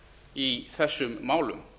í þessum málum